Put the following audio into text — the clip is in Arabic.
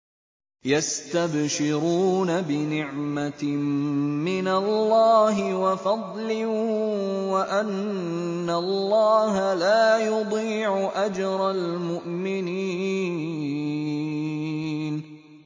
۞ يَسْتَبْشِرُونَ بِنِعْمَةٍ مِّنَ اللَّهِ وَفَضْلٍ وَأَنَّ اللَّهَ لَا يُضِيعُ أَجْرَ الْمُؤْمِنِينَ